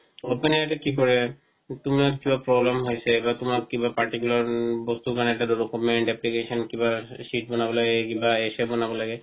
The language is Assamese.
open AI টো কি কৰে তোমাক যত problem বা তোমাক কিবা particular বস্তুৰ কাৰণে এটা document application কিবা sheet বনাব লাগে কিবা essay বনাব লাগে